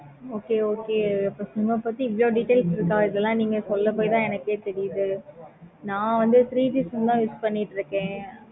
okay okay அப்போ sim ஆஹ் பத்தி இவ்வளோ details இருக்குதா நீங்க சொல்ல போய் தான் எனக்கே தெரியுது. நா வந்து two G